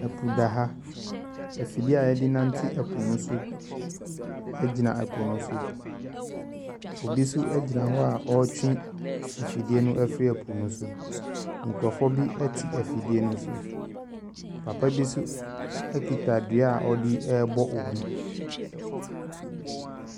Afra benymba bi rebɔ kyen. Na mmoframba bi nso gyinagina n'ekyir. Ikor ne nua tena ne nan do. Na kor nsa dza sɔ ne tsir mu. Kor nso ɔama ne tam no do.